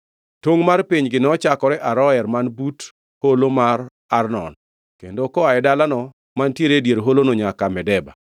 Tongʼ mar pinygi nochakore Aroer man but holo mar Arnon, kendo koa e dalano mantiere e dier holono nyaka Medeba,